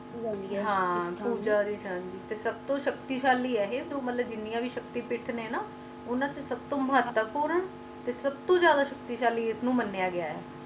ਹਾਂ ਸਬ ਤੋਂ ਸ਼ਕਲੀ ਸ਼ੈਲੀ ਹੈ ਗੇ ਨੇ ਤੇ ਜਿੰਨੀਆਂ ਵੀ ਸਖਤੀਆਂ ਹੈਂ ਉੰਨਾ ਤੋਂ ਸਬ ਤੋਂ ਮੁਹਾਤੁਨ ਪੁਨ ਓਰ ਸਬ ਤੋਂ ਜਾਂਦਾ ਸਖਤੀ ਸ਼ੈਲੀ ਇੰਨਾ ਨੂੰ ਮਾਣਿਆ ਜਾਂਦਾ ਹੈ